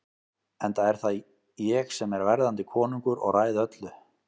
Enda er það ég sem er verðandi konungur og ræð öllu.